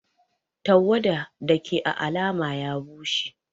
Tawada Dake à alama ya bushe.